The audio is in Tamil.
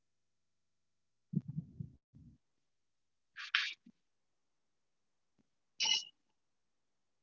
ஆஹ் பண்ணலாம் mam actual லா உங்களுக்கு என்ன மாதிரி food வேணும்னு நீங்க சொன்னிங்கனா அந்த மாதிரி நாங்க arrange பண்ணி குடுத்துடுவோம் mam.